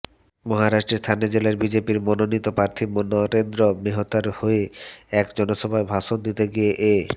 মহারাষ্ট্রের ঠাণে জেলায় বিজেপির মনোনীত প্রার্থী নরেন্দ্র মেহতার হয়ে এক জনসভায় ভাষণ দিতে গিয়ে এ